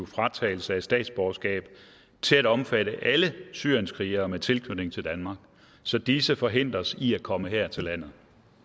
fratagelse af statsborgerskab til at omfatte alle syrienskrigere med tilknytning til danmark så disse forhindres i at komme her til landet